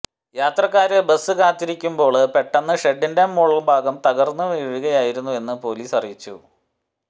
യാത്രക്കാര് ബസ് കാത്തിരിക്കുമ്പോള് പെട്ടെന്ന് ഷെഡിന്റെ മുകള്ഭാഗം തകര്ന്നു വീഴുകയായിരുന്നെന്ന് പോലീസ് അറിയിച്ചു